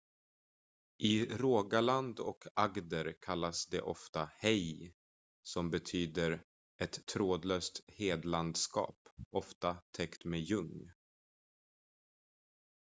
"i rogaland och agder kallas de ofta "hei" som betyder ett trädlöst hedlandskap ofta täckt med ljung.